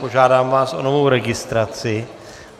Požádám vás o novou registraci.